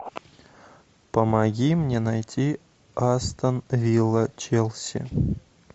помоги мне найти астон вилла челси